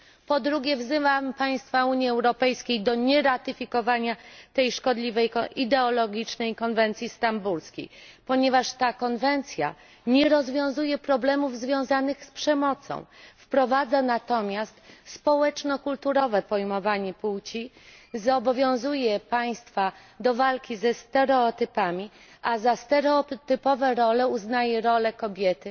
Po drugie, wzywam państwa Unii Europejskiej do nieratyfikowania tej szkodliwej, ideologicznej Konwencji Stambulskiej, ponieważ ta konwencja nie rozwiązuje problemów związanych z przemocą, wprowadza natomiast społeczno kulturowe pojmowanie płci, zobowiązuje państwa do walki ze stereotypami, a za stereotypową rolę uznaje rolę kobiety